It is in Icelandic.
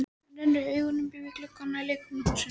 Hann rennir augunum upp í gluggana á leikfimihúsinu.